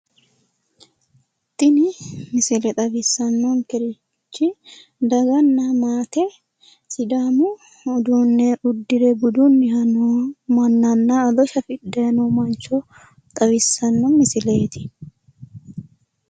Tini misile xawissannonkerichi daganna maate sidaamu uduunne uddire budunnihano noo mannanna ado shafidhanni no mancho xawissanno misileeti.